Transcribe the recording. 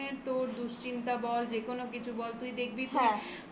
তোর দুশ্চিন্তা বল, যেকোনো কিছু বল তুই দেখবি বন্ধুদের কাছে.